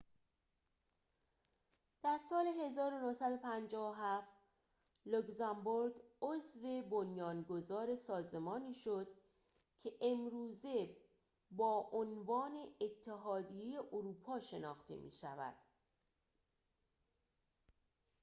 در سال ۱۹۵۷ لوگزامبورگ عضو بنیانگذار سازمانی شد که امروزه با عنوان اتحادیه اروپا شناخته می‌شود